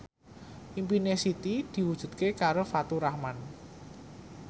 impine Siti diwujudke karo Faturrahman